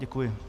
Děkuji.